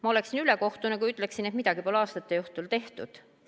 Ma oleksin ülekohtune, kui ütleksin, et midagi pole aastate jooksul tehtud.